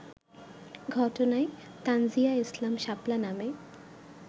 ঘটনায় তানজীয়া ইসলাম শাপলা নামে